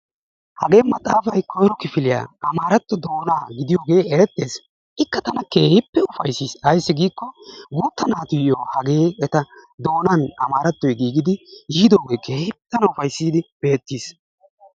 hagee maxaafay koyro kifiliya amaarato doonaa gidiyooge eretees. ikka tana keehippe ufayssis. ayssi ggiikko guuta naatuyo hagee eta doonan giigidi, yiidooge keehippe tana ufayssidi beetiis.